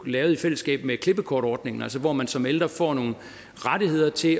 lavede i fællesskab med klippekortordningen hvor man som ældre får nogle rettigheder til at